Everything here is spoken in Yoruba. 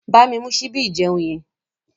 Bámi mú síbí ìjeun yẹn.